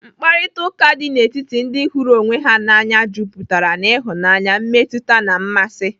Mkparịtaụka dị n'etiti ndị hụrụ onwe ha n'anya juputara n'ịhụnanya, mmetụta na mmasị.